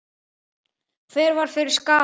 Hver varð fyrir skaða?